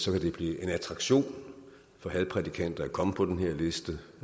vil blive en attraktion for hadprædikanter at komme på den her liste